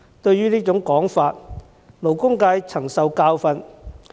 對於這種說法，勞工界曾受教訓。